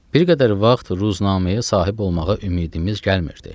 Bir qədər vaxt ruznaməyə sahib olmağa ümidimiz gəlmirdi.